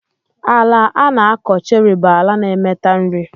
Ala ana akọ cherry bu ala na emeta nri.